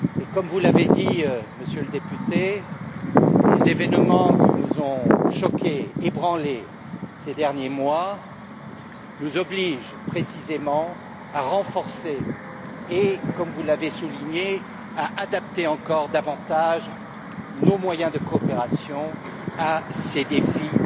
Comme vous l'avez dit, Monsieur le Député, les événements qui nous ont choqués, ébranlés ces derniers mois, nous obligent précisément à renforcer et, comme vous l'avez souligné, à adapter encore davantage nos moyens de coopération à ces défis